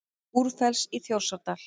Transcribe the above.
Búrfells í Þjórsárdal.